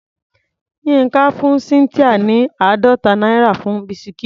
Yínká fún Cynthia ní àádọ́ta náírà fún bisikíìtì.